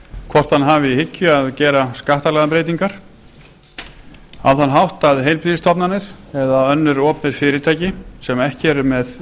hvort hann hafi í hyggju að gera skattalagabreytingar á þann hátt að heilbrigðisstofnanir eða önnur opinber fyrirtæki sem ekki eru með